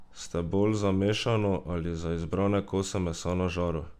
Ste bolj za mešano ali za izbrane kose mesa na žaru?